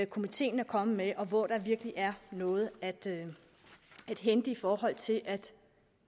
komiteen er kommet med og hvor der virkelig er noget at hente i forhold til at